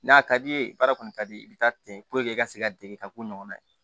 N'a ka di i ye baara kɔni ka di i bɛ taa ten i ka se ka dege ka ko ɲɔgɔn na ye